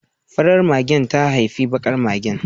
Farar magen ta haifi bakar magen